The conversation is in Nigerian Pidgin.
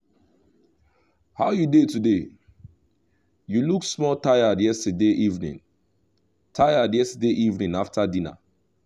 how you dey today? you look small tired yesterday evening tired yesterday evening after dinner.